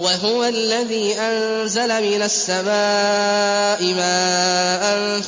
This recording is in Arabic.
وَهُوَ الَّذِي أَنزَلَ مِنَ السَّمَاءِ مَاءً